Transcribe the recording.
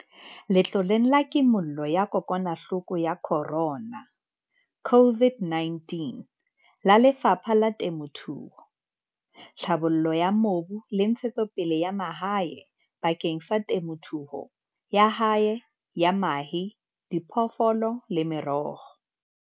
Letloleng la Kimollo ya kokwanahloko ya Corona, COVID-19, la Lefapha la Temothuo, Tlhabollo ya Mobu le Ntshe-tsopele ya Mahae bakeng sa temothuo ya hae ya mahe, diphoofolo le meroho.